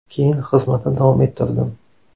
Keyin xizmatni davom ettirdim.